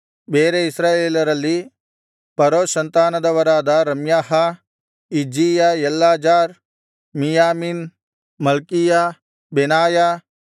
ಬೇರೆ ಇಸ್ರಾಯೇಲರಲ್ಲಿ ಪರೋಷ್ ಸಂತಾನದವರಾದ Ramiah Izziah Eleazar Miamin Malchiah ಬೆನಾಯ